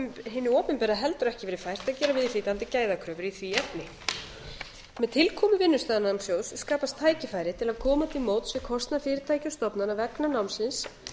hinu opinbera heldur ekki verið fært að gera viðhlítandi gæðakröfur í því efni með tilkomu vinnustaðanámssjóðs skapast tækifæri til að koma til móts við kostnað fyrirtækja og stofnana vegna námsins